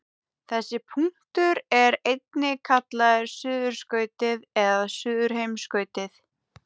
Þessi punktur er einnig kallaður suðurskautið eða suðurheimskautið.